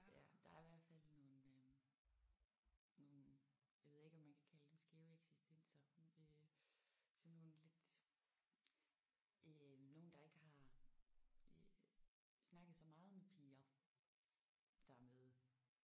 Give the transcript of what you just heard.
Ja der er i hvert fald nogle øh nogle jeg ved ikke om man kan kalde dem skæve eksistenser øh sådan nogle lidt øh nogen der ikke har øh snakket så meget med piger der er med